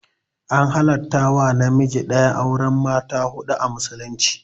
An halarta wa namiji ɗaya auren mata huɗu a musulunci